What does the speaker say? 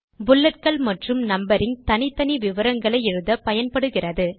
புல்லட்கள் மற்றும் நம்பரிங் தனித்தனி விவரங்களை எழுத பயன்படுகிறது